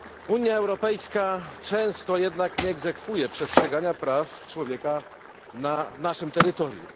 Unia Europejska często jednak nie egzekwuje przestrzegania praw człowieka na naszym terytorium.